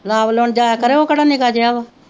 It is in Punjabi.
ਲਾਬ ਲਾਉਣ ਜਾਇਆ ਕਰੇ ਉਹ ਕਿਹੜਾ ਨਿੱਕਾ ਜਿਹਾ ਵਾ।